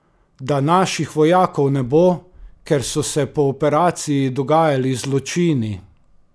Da naših vojakov ne bo, ker so se po operaciji dogajali zločini?